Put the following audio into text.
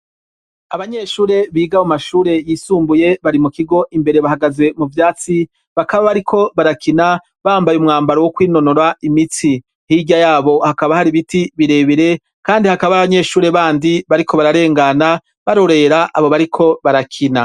Abanyeshure biga mu mashure yisumbuye bari mu kigo imbere bahagaze mu vyatsi, bakaba bariko barakina bambaye umwambaro wo kwinonora imitsi. Hirya yabo hakaba hari ibiti birebire kandi hakabaho abanyeshuri bandi bariko bararengana, barorera abo bariko barakina.